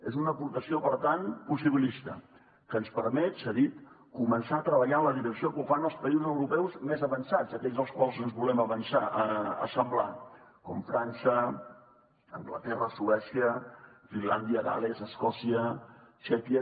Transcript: és una aportació per tant possibilista que ens permet s’ha dit començar a treballar en la direcció que ho fan els països europeus més avançats aquells als quals ens volem assemblar com frança anglaterra suècia finlàndia gal·les escòcia txèquia